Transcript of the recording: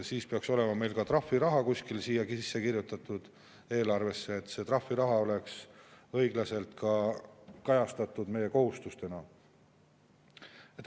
Siis peaks meil olema ka trahviraha eelarvesse sisse kirjutatud, et see trahviraha oleks õigesti kajastatud meie kohustusena.